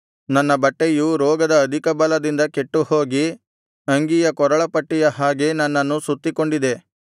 ನನ್ನ ಬಟ್ಟೆಯು ರೋಗದ ಅಧಿಕ ಬಲದಿಂದ ಕೆಟ್ಟುಹೋಗಿ ಅಂಗಿಯ ಕೊರಳ ಪಟ್ಟಿಯ ಹಾಗೆ ನನ್ನನ್ನು ಸುತ್ತಿಕೊಂಡಿದೆ